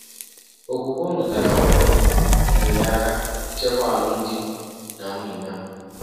Okwukwe o nwetara ọhụrụ nyeere ya aka ichekwa alụmdi na nwunye ya.